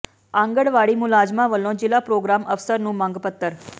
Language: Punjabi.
ਆਂਗਣਵਾੜੀ ਮੁਲਾਜ਼ਮਾਂ ਵੱਲੋਂ ਜ਼ਿਲ੍ਹਾ ਪ੍ਰੋਗਰਾਮ ਅਫ਼ਸਰ ਨੂੰ ਮੰਗ ਪੱਤਰ